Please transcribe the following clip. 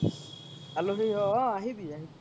আলহি হয় অহ আহিবি আহিবি